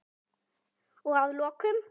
Og að lokum.